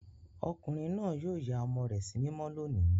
Ọkùnrin náà yóò ya ọmọ rẹ̀ sí mímọ́ lónìí.